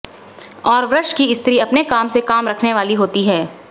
और वृष की स्त्री अपने काम से काम रखने वाली होती है